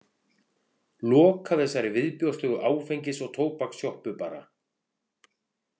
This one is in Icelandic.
Loka þessari viðbjóðslegu áfengis- og tóbakssjoppu bara.